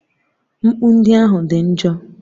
Mkpu ndị ahụ dị njọ.